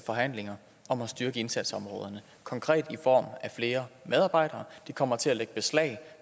forhandlinger om at styrke indsatsområderne konkret i form af flere medarbejdere de kommer til at lægge beslag